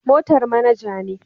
Motar manager ne